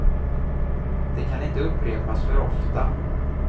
Det kan inte upprepas för ofta.